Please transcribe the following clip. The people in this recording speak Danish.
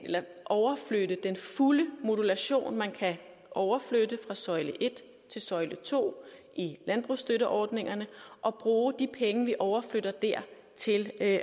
overflytte den fulde modulation man kan overflytte fra søjle et til søjle to i landbrugsstøtteordningerne og bruge de penge vi overflytter der til at